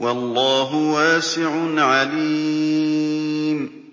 وَاللَّهُ وَاسِعٌ عَلِيمٌ